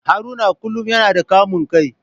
Haruna kullum yana da kamun kai.